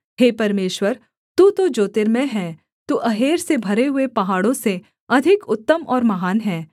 हे परमेश्वर तू तो ज्योतिर्मय है तू अहेर से भरे हुए पहाड़ों से अधिक उत्तम और महान है